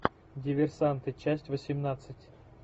диверсанты часть восемнадцать